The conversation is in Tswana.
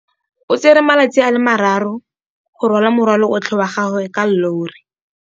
O tsere malatsi a le marraro go rwala morwalo otlhe wa gagwe ka llori.